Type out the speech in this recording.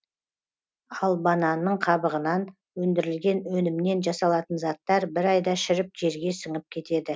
ал бананның қабығынан өндірілген өнімнен жасалатын заттар бір айда шіріп жерге сіңіп кетеді